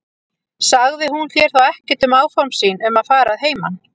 Sagði hún þér þá ekkert um áform sín um að fara að heiman?